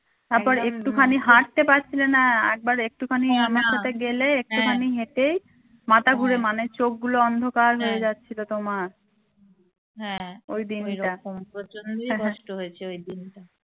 তারপর একটু খানি হাটতে পারছিলে না একবার একটু খানি আমার সাথে গেলে একটু খানি হেটে মাথা ঘুরে মানে চোখ গুলো অন্ধকার হয়ে যাচ্ছিল তোমার